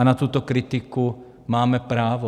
A na tuto kritiku máme právo.